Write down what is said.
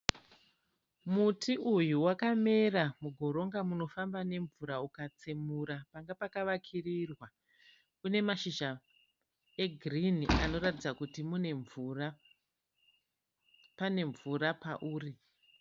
Muti uyu wakamera mugoronga munofamba nemvura ukatsemura panga pakavakirirwa. Une mashizha egirinhi anotaridza kuti mune mvura, pane mvura pauri.